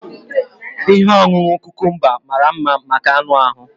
Ihe ọṅụṅụ cucumber mara mma maka anụ ahu